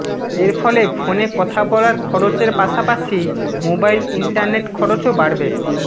এরফলে ফোনে কথা বলার খরচের পাশাপাশি মোবাইল ইন্টারনেট খরচও বাড়বে